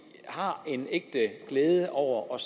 har en ægte glæde over